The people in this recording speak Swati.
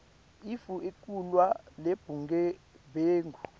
etfu ekulwa nebugebengu